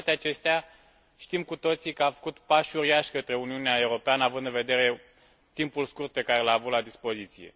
Cu toate acestea, știm cu toții că a făcut pași uriași către Uniunea Europeană, având în vedere timpul scurt pe care l a avut la dispoziție.